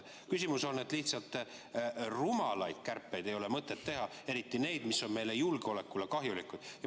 Küsimus on selles, et rumalaid kärpeid ei ole mõtet teha, eriti neid, mis on meie julgeolekule kahjulikud.